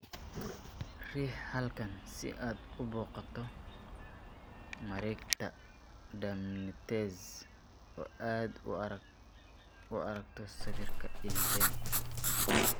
Riix halkan si aad u booqato Mareegta DermNetNZ oo aad u aragto sawirka ILVEN.